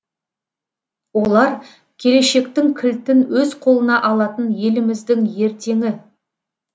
олар келешектің кілтін өз қолына алатын еліміздің ертеңі